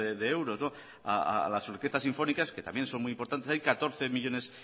de euros a las orquestas sinfónicas que también son muy importantes hay catorce coma cinco millónes